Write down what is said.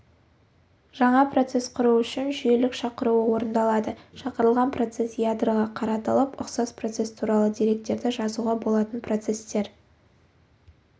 жаңа процесс құру үшін жүйелік шақыруы орындалады шақырылған процесс ядроға қаратылып ұқсас процесс туралы деректерді жазуға болатын процесстер